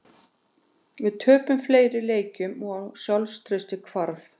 Við töpuðum fleiri leikjum og sjálfstraustið hvarf.